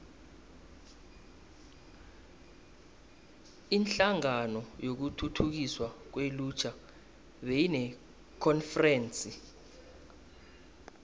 inhlangano yokuthuthukiswa kwelutjha beyinekonferense